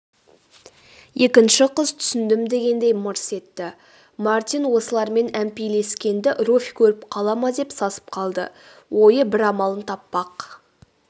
екінші қыз түсіндім дегендей мырс етті мартин осылармен әмпейлескенімді руфь көріп қала ма деп сасып қалды ойы бір амалын таппақ